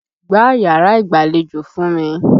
Gbá yàrá ìgbàlejò fún mi!